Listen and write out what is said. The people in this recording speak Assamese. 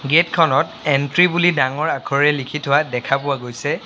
গেট খনত এন্ট্ৰী বুলি ডাঙৰ আখৰে লিখি থোৱা দেখা পোৱা গৈছে।